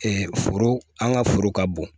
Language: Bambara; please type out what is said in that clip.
foro an ka foro ka bon